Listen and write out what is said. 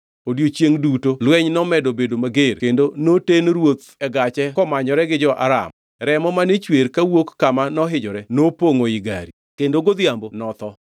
Odiechiengʼno duto lweny nomedo bedo mager kendo noten ruoth e gache komanyore gi jo-Aram. Remo mane chwer kawuok kama nohinyore nopongʼo i gari, kendo godhiambo notho.